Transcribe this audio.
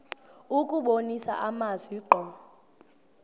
kubonisa amazwi ngqo